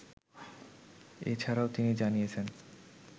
এছাড়াও তিনি জানিয়েছেন